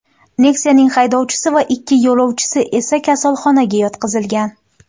Nexia’ning haydovchisi va ikki yo‘lovchisi esa kasalxonaga yotqizilgan.